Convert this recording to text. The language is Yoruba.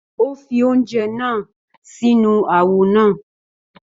Ó fi oúnjẹ náà sínú àwo náà.